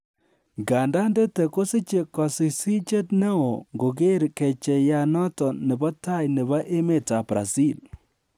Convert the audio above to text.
Ngandan Tete kosiche kosichsichet neo ngoger kecheiyat noton nebo tai nebo emetab Brazil